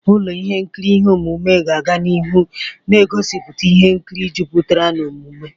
Ụlọ ihe nkiri ihe omume ga-aga n'ihu na-egosipụta ihe nkiri jupụtara n'omume.